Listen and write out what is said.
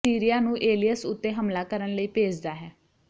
ਉਹ ਸੀਰੀਆ ਨੂੰ ਏਲੀਅਸ ਉੱਤੇ ਹਮਲਾ ਕਰਨ ਲਈ ਭੇਜਦਾ ਹੈ